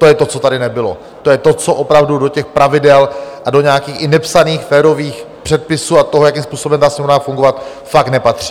To je to, co tady nebylo, to je to, co opravdu do těch pravidel a do nějakých i nepsaných férových předpisů a toho, jakým způsobem má Sněmovna fungovat, fakt nepatří.